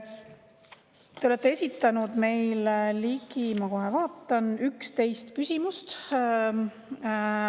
Te olete esitanud meile, ma kohe vaatan, 11 küsimust.